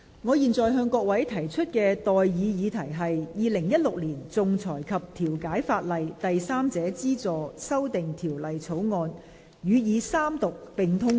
我現在向各位提出的待議議題是：《2016年仲裁及調解法例條例草案》予以三讀並通過。